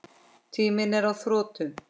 Tíminn er á þrotum.